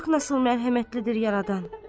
Bax nasıl mərhəmətlidir yaradan.